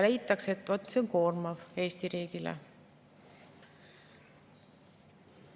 Leitakse, et see on koormav Eesti riigile.